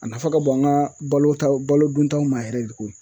A nafa ka bon an ka balota balo duntaw ma yɛrɛ de koyi.